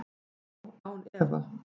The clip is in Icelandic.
Já, án efa.